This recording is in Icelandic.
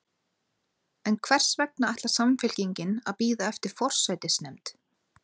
En hvers vegna ætlar Samfylkingin að bíða eftir forsætisnefnd?